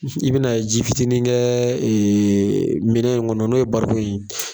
usu, i bɛ na ji fitinin kɛɛɛ minɛ in kɔnɔ n'o ye barikon ye.